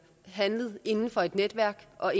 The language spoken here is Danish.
og